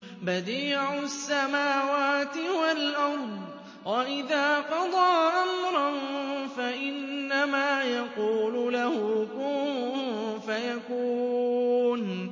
بَدِيعُ السَّمَاوَاتِ وَالْأَرْضِ ۖ وَإِذَا قَضَىٰ أَمْرًا فَإِنَّمَا يَقُولُ لَهُ كُن فَيَكُونُ